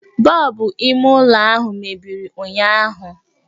Bọbụ ime ụlọ ahụ mebiri ụnyụahụ